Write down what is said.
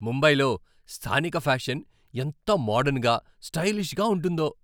ముంబైలో స్థానిక ఫ్యాషన్ ఎంత మోడర్న్గా, స్టైలిష్గా ఉంటుందో.